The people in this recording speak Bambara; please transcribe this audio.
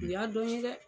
U y'a dɔn ye dɛ